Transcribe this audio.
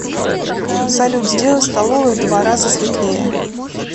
салют сделай в столовой в два раза светлее